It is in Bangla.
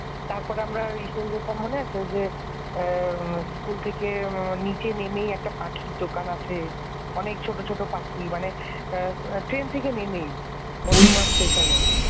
মনে আছে তারপর আমরা ওই সুন্দর টা মনে আছে? যে এই school থেকে নিচে নেমে একটা পাখির দোকান আছে অনেক ছোট ছোট পাখি মানে এ ট্রেন থেকে নেমেই । মধ্যমগ্রাম স্টেশানের